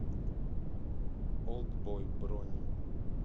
олдбой бронь